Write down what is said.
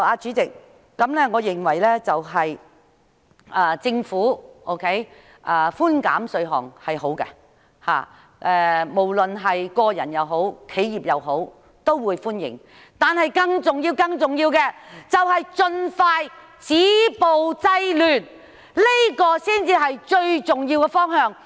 主席，我認為政府寬減稅項是好的，無論是個人或企業也會歡迎，但更重要的是盡快止暴制亂，這才是最重要的方向。